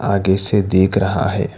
आगे से देख रहा है।